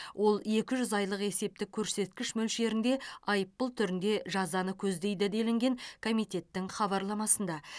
ол екі жүз айлық есептік көрсеткіш мөлшерінде айыппұл түрінде жазаны көздейді делінген комитеттің хабарламасында